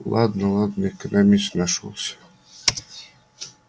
ладно ладно экономист нашёлся